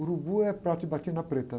O urubu é padre de batina preta, né?